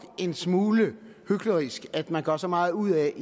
er en smule hyklerisk at man gør så meget ud af